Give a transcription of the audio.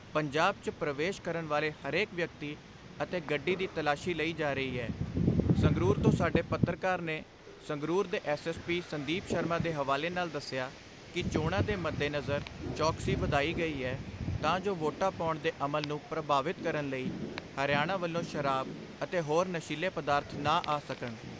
ਪੰਜਾਬ 'ਚ ਪ੍ਰਵੇਸ਼ ਕਰਨ ਵਾਲੇ ਹਰੇਕ ਵਿਅਕਤੀ ਅਤੇ ਗੱਡੀ ਦੀ ਤਲਾਸ਼ੀ ਲਈ ਜਾ ਰਹੀ ਏ ਸੰਗਰੂਰ ਤੋਂ ਸਾਡੇ ਪੱਤਰਕਾਰ ਨੇ ਸੰਗਰੂਰ ਦੇ S S P Sandeep Sharma ਦੇ ਹਵਾਲੇ ਨਾਲ ਦਸਿਆ ਕਿ ਚੋਣਾਂ ਦੇ ਮੱਦੇਨਜ਼ਰ ਚੌਕਸੀ ਵਧਾਈ ਗਈ ਐ ਤਾਂ ਜੋ ਵੋਟਾਂ ਪਾਉਣ ਦੇ ਅਮਲ ਨੂੰ ਪ੍ਰਭਾਵਿਤ ਕਰਨ ਲਈ ਹਰਿਆਣਾ ਵੱਲੋਂ ਸ਼ਰਾਬ ਅਤੇ ਹੋਰ ਨਸ਼ੀਲੇ ਪਦਾਰਥ ਨਾ ਆ ਸਕਣ।